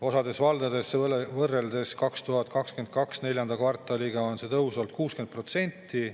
Osas valdades on võrreldes 2022. aasta neljanda kvartaliga see tõus olnud 60%.